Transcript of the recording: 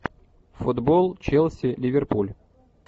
футбол челси ливерпуль